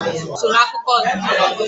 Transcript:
Agwụgwa bụkwa otú usoro akụkọ ọdịnala